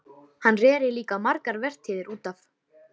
Hann reri líka margar vertíðir út af